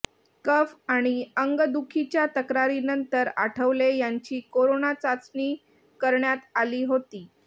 कफ आणि अंगदुखीच्या तक्रारीनंतर आठवले यांची कोरोना चाचणी करण्यात आली होती